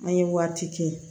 An ye waati kɛ